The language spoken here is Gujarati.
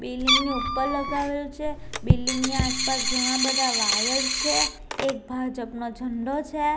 બિલ્ડીંગ ની ઉપર લગાવેલ છે બિલ્ડીંગ ની આસપાસ ઘણા બધા વાયર છે એક ભાજપનો ઝંડો છે.